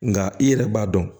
Nka i yɛrɛ b'a dɔn